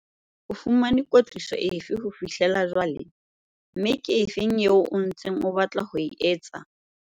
O fumane kwetliso efe ho fihlela jwale, mme ke efe eo o ntseng o batla ho e etsa?